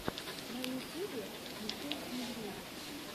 на ютюбе михей медведев